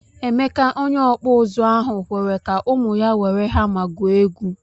Emeka onye okpu uzu ahu kwere ka ụmụ ya were hama gwuo egwu.